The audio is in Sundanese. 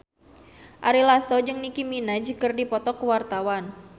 Ari Lasso jeung Nicky Minaj keur dipoto ku wartawan